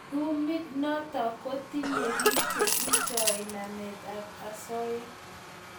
Tumeit notok ko tinye piik che eshoiy namet ab asoya